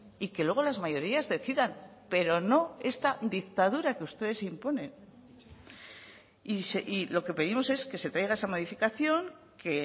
y que luego las mayorías decidan pero no esta dictadura que ustedes imponen y lo que pedimos es que se traiga esa modificación que